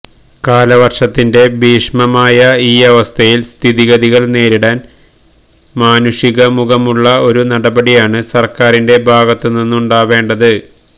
കാലവര്ഷത്തിന്റെ ഭീഷണമായ ഈയവസ്ഥയില് സ്ഥിതിഗതികള് നേരിടാന് മാനുഷിക മുഖമുള്ള ഒരു നടപടിയാണ് സര്ക്കാറിന്റെ ഭാഗത്തുനിന്നുണ്ടാവേണ്ടത്